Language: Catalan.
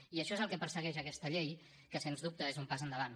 i això és el que persegueix aquesta llei que sens dubte és un pas endavant